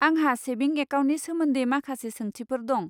आंहा सेभिं एकाउन्टनि सोमोन्दै माखासे सोंथिफोर दं।